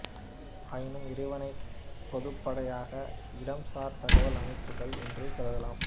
ஆயினும் இவற்றைப் பொதுப்படையாக இடம்சார் தகவல் அமைப்புகள் என்றே கருதலாம்